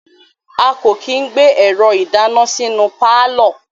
A ko kii gbe ẹrọ idana sinu paalọ